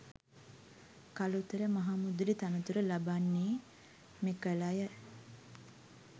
කළුතර මහමුදලි තනතුරු ලබන්නේ මෙකලය